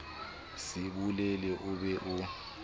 se bolele o be o